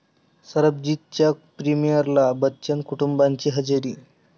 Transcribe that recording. सरबजीत'च्या प्रिमिअरला बच्चन कुटुंबाची हजेरी